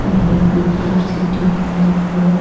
Many people are sitting on the floor.